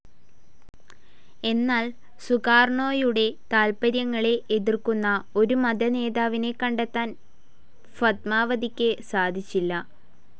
എന്നാൽ സുകാർണോയുടെ താൽപര്യങ്ങളെ എതിർക്കുന്ന ഒരു മതനേതാവിനെ കണ്ടെത്താൻ ഫത്മാവതിക്ക് സാധിച്ചില്ല.